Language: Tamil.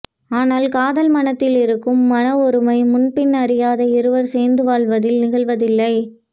ஆனால் காதல்மணத்தில் இருக்கும் மன ஒருமை முன்பின் அறியாத இருவர் சேர்ந்துவாழ்வதில் நிகழ்வதில்லை